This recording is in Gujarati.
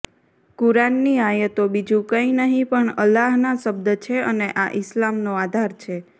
કુરાનની આયતો બીજું કંઇ નહીં પણ અલ્લાહના શબ્દ છે અને આ ઇસ્લામનો આધાર છે